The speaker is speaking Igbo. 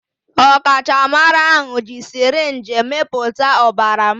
Ọkachamara ahụ ji sirinji mịpụta ọbara m